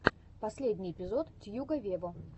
последний эпизод тьюга вево